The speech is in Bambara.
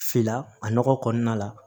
Fila a nɔgɔ kɔnɔna la